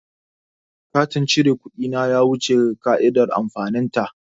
Katin cire kuɗi na ya wuce ƙa'idar amfanin ta.